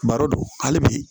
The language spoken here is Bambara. Baro don hali bi